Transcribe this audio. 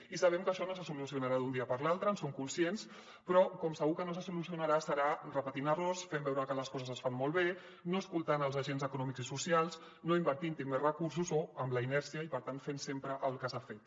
i sabem que això no se solucionarà d’un dia per l’altre en som conscients però com segur que no se solucionarà serà repetint errors fent veure que les coses es fan molt bé no escoltant els agents econòmics i socials no invertint hi més recursos o amb la inèrcia i per tant fent sempre el que s’ha fet